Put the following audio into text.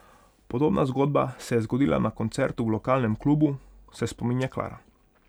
Podobna zgodba se je zgodila na koncertu v lokalnem klubu, se spominja Klara.